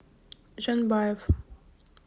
жанбаев